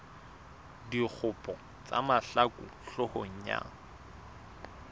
dikgopo tsa mahlaku hloohong ya